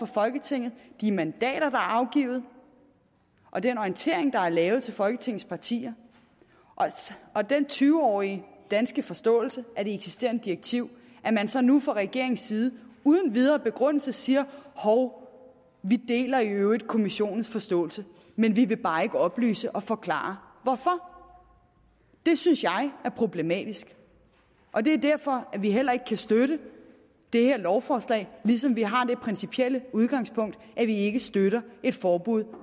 folketinget de mandater er afgivet og den orientering der er givet til folketingets partier og den tyve årige danske forståelse af det eksisterende direktiv at man så nu fra regeringens side uden videre begrundelse siger hov vi deler i øvrigt kommissionens forståelse men vi vil bare ikke oplyse og forklare hvorfor det synes jeg er problematisk og det er derfor vi heller ikke kan støtte det her lovforslag ligesom vi har det principielle udgangspunkt at vi ikke støtter et forbud